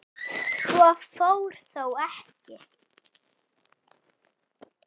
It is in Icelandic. Svo fór þó ekki.